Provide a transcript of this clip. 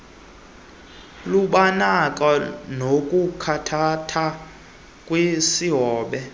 lubonakala nakuthathatha kwisihobe